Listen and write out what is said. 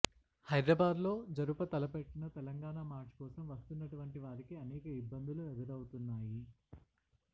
హైదరాబాద్ లో జరుపతలపెట్టిన తెలంగాణ మార్చ్ కోసం వస్తున్నటువంటి వారికి అనేక ఇబ్బందులు ఎదురవుతున్నాయి